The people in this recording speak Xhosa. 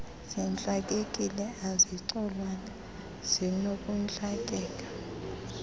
zintlakekile azicolwanga zinokuntlakeka